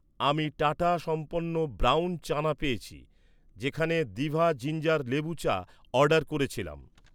আমি টাটা সম্পন্ন ব্রাউন চানা পেয়েছি যেখানে দিভা জিঞ্জার লেবু চা অর্ডার করেছিলাম